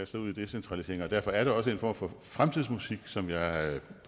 sig ud i decentralisering og derfor er det også en form for fremtidsmusik som jeg